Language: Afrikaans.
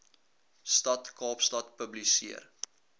stad kaapstad publiseer